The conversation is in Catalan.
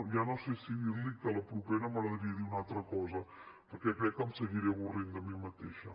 ja no sé si dir li que a la propera m’agradaria dir una altra cosa perquè crec que em seguiré avorrint de mi mateixa